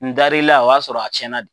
N dar'i la o y'a sɔrɔ a tiɲɛna bi.